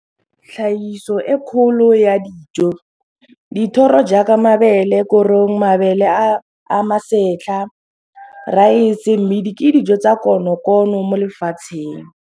Tlhagiso e kgolo ya dijo, dithoro jaaka mabele korong, mabele a masetlha, raese, mmidi ke dijo tsa konokono mo lefatsheng.